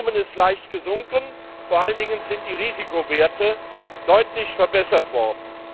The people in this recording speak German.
Das Volumen ist leicht gesunken, vor allen Dingen sind die Risikowerte deutlich verbessert worden.